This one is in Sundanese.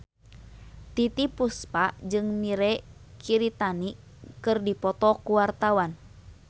Titiek Puspa jeung Mirei Kiritani keur dipoto ku wartawan